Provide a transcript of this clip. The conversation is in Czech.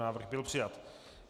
Návrh byl přijat.